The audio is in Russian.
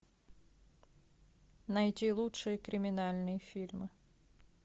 найти лучшие криминальные фильмы